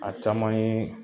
A caman yee